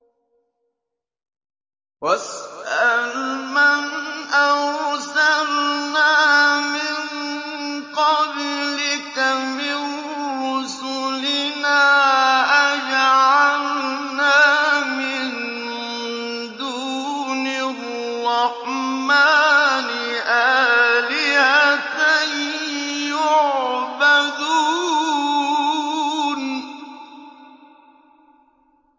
وَاسْأَلْ مَنْ أَرْسَلْنَا مِن قَبْلِكَ مِن رُّسُلِنَا أَجَعَلْنَا مِن دُونِ الرَّحْمَٰنِ آلِهَةً يُعْبَدُونَ